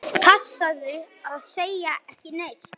Passaðu að segja ekki neitt.